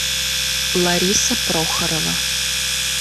лариса прохорова